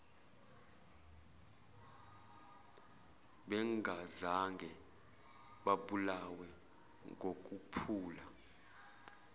bengazange babulawe ngokuphula